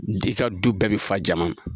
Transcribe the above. Di ka du bɛɛ be fa jama na.